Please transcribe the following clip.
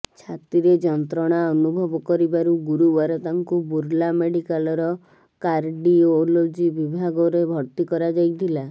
ଛାତିରେ ଯନ୍ତ୍ରଣା ଅନୁଭବ କରିବାରୁ ଗୁରୁବାର ତାଙ୍କୁ ବୁର୍ଲା ମେଡିକାଲର କାର୍ଡିଓଲୋଜି ବିଭାଗରେ ଭର୍ତ୍ତି କରାଯାଇଥିଲା